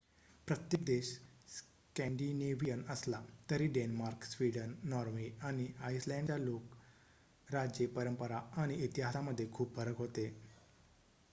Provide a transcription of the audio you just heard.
प्रत्येक देश स्कॅन्डिनेव्हियन' असला तरी डेन्मार्क स्वीडन नॉर्वे आणि आइसलँडच्या लोक राजे परंपरा आणि इतिहासामध्ये खूप फरक होते